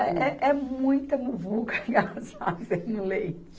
É, é, é muita muvuca que elas fazem no leite.